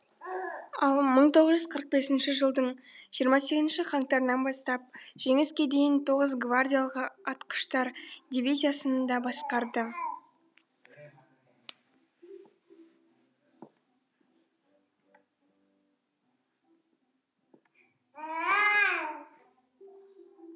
ал бір мың тоғыз жүз қырық бесінші жылдың жиырма сегізінші қаңтарынан бастап жеңіске дейін тоғызыншы гвардиялық атқыштар дивизиясын да басқарды